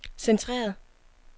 centreret